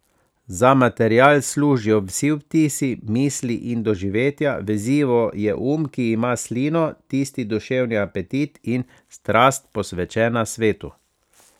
Za material služijo vsi vtisi, misli in doživetja, vezivo je um, ki ima slino, tisti duševni apetit in strast, posvečena svetu.